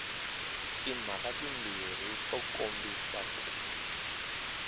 timhaka timbirhi to kombisa ku